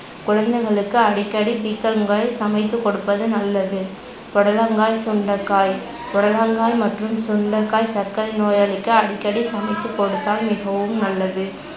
குழந்தைகளுக்கு அடிக்கடி பீர்க்கங்காய் சமைத்து கொடுப்பது நல்லது. புடலங்காய், சுண்டைக்காய் புடலங்காய் மற்றும் சுண்டைக்காய் சர்க்கரை நோயாளிக்கு அடிக்கடி சமைத்து கொடுத்தால் மிகவும் நல்லது